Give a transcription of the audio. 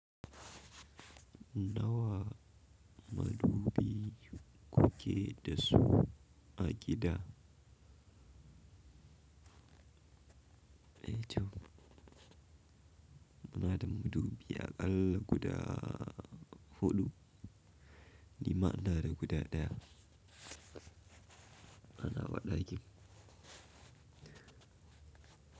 Nawa madubi kuke dasu a gida? Eh to. Muna da madubi aƙalla guda hudu. Nima ina da guda daya. A nawa ɗakin.